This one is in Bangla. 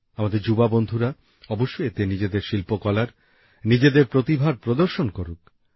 আমাদের যুবকযুবতি বন্ধুরা অবশ্যই এতে নিজেদের শিল্পকলার নিজেদের প্রতিভার প্রদর্শন করবেন